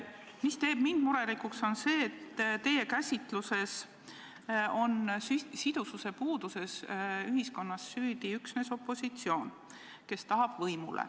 Mind teeb murelikuks see, et teie käsitluses on sidususe puudumises süüdi üksnes opositsioon, kes tahab võimule.